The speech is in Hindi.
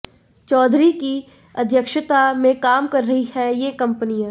चौधरी की अध्यक्षता में काम कर रही हैं ये कंपनियां